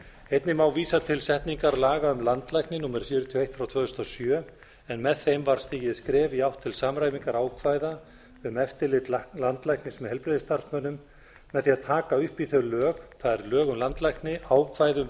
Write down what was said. einnig má vísa til setningar laga um landlækni númer fjörutíu og eitt tvö þúsund og sjö en með þeim var stigið skref í átt til samræmingar ákvæða um eftirlit landlæknis með heilbrigðisstarfsmönnum með því að taka upp í þau lög það er lög um landlækni ákvæði um